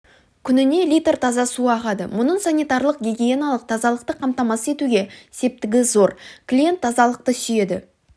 күніне литр таза су ағады мұның санитарлық-гигиеналық тазалықты қамтамасыз етуге септігі зор клиент тазалықты сүйеді